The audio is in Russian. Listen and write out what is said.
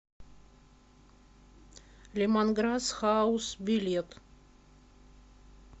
лемонграсс хаус билет